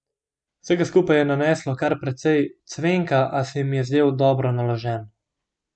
Vsega skupaj je naneslo kar precej cvenka, a se mi je zdel dobro naložen.